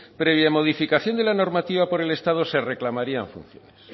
previa modificación de la normativa por el estado se reclamarían funciones